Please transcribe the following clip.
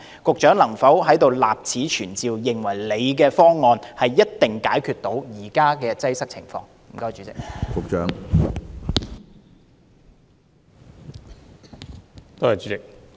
局長能否在這裏立此存照，表明你的方案一定能解決現時的擠迫情況呢？